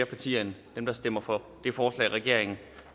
partier end dem der stemmer for det forslag regeringen